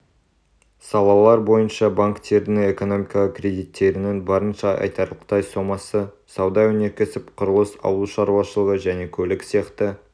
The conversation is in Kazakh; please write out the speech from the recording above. салалар бойынша банктердің экономикаға кредиттерінің барынша айтарлықтай сомасы сауда өнеркәсіп құрылыс ауыл шаруашылығы және көлік сияқты